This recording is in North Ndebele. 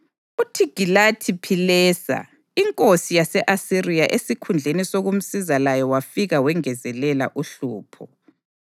UThigilathi-Philesa inkosi yase-Asiriya esikhundleni sokumsiza laye wafika wengezelela uhlupho.